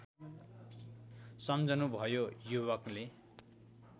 सम्झनुभयो युवकले